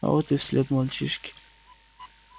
а вот и след мальчишки